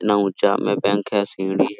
इतना ऊंचा में बैंक हैसीढ़ी--